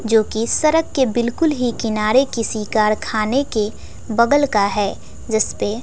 जोकि सरक के बिल्कुल ही किनारे किसी कारखाने के बगल का है जिसपे--